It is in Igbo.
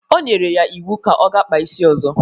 O nyiri ya iwu ka ọ ga-kpa isi ọzọ!